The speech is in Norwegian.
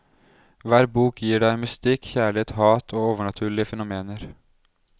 Hver bok gir deg mystikk, kjærlighet, hat og overnaturlige fenomener.